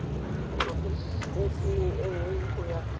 porofenseng e nngwe go ya